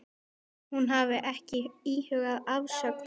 Hún hafi ekki íhugað afsögn.